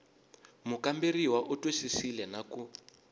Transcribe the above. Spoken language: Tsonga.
mukamberiwa u twisisile na ku